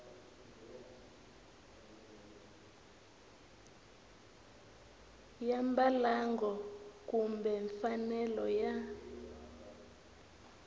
ya mbalango kumbe mfanelo ya